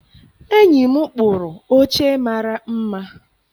Enyi m kpụrụ oche mara mma.